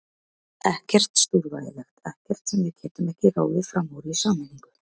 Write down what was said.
Ekkert stórvægilegt, ekkert sem við getum ekki ráðið fram úr í sameiningu.